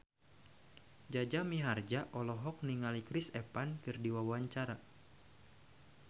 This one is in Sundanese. Jaja Mihardja olohok ningali Chris Evans keur diwawancara